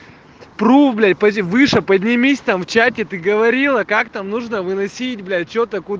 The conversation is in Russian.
выше поднимись там в чате ты говорила как там нужно выносить блять что